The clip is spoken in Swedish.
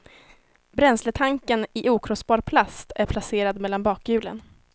Bränsletanken i okrossbar plast är placerad mellan bakhjulen.